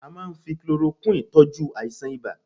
A máà ń fi chloroquine tọ́jú àìsàn ibà